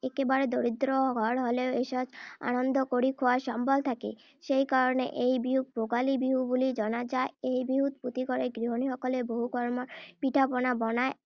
একেবাৰে দৰিদ্ৰ ঘৰ হলেও এসাঁজ আনন্দ কৰি খোৱাৰ সম্বল থাকে। সেই কাৰণে এই বিহুক ভোগালী বিহু বুলিও জনা যায়৷ এই বিহু প্ৰতিঘৰতে গৃহিনীসকলে বহু ৰকমৰ পিঠা-পনা বনায়।